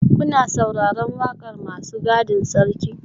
Kuna sauraron wakar masu gadin sarki?